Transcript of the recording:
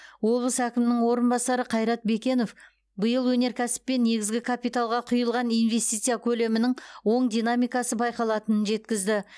облыс әкімінің орынбасары қайрат бекенов биыл өнеркәсіп пен негізгі капиталға құйылған инвестиция көлемінің оң динамикасы байқалатынын жеткізді